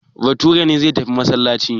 Bature ne zai tafi masallaci.